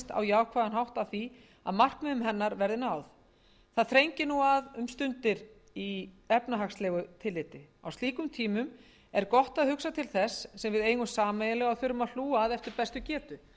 jákvæðan hátt að því að markmiðum hennar verði náð það þrengir að nú um stundir í efnahagslegu tilliti á slíkum tímum er gott að hugsa til þess sem við eigum sameiginlega og þurfum að hlúa að eftir bestu getu